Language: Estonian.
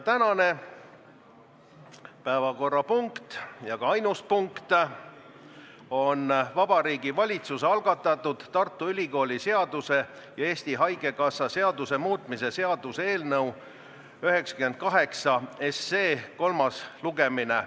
Tänane ainus päevakorrapunkt on Vabariigi Valitsuse algatatud Tartu Ülikooli seaduse ja Eesti Haigekassa seaduse muutmise seaduse eelnõu 98 kolmas lugemine.